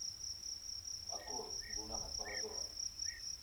открой луна над парадором